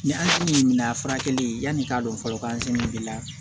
Ni an se mina furakɛli yanni k'a dɔn fɔlɔ k'an sigila